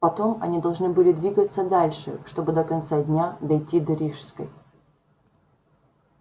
потом они должны были двигаться дальше чтобы до конца дня дойти до рижской